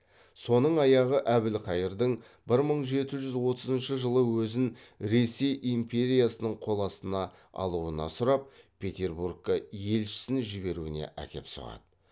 соның аяғы әбілқайырдың бір мың жеті жүз отызыншы жылы өзін ресей империясының қол астына алуына сұрап петербургка елшісін жіберуіне әкеп соғады